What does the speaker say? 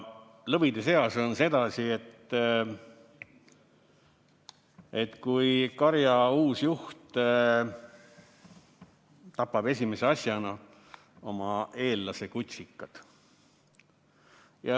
Lõvide seas on sedasi, et karja uus juht tapab esimese asjana oma eellase kutsikad.